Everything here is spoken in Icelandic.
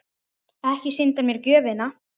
Ekki sýndi hann þér gjöfina?